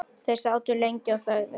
Þeir sátu lengi og þögðu.